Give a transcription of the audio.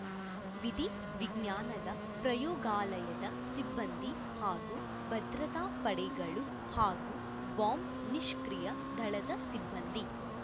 ವಿಧಿ ವಿಜ್ಞಾನದ ಪ್ರಯೋಗಾಲಯದ ಸಿಬ್ಬಂದಿ ಹಾಗೂ ಭದ್ರತಾ ಪಡೆಗಳು ಹಾಗೂ ಬಾಂಬ್ ನಿಷ್ಕ್ರಿಯ ದಳದ ಸಿಬ್ಬಂದಿ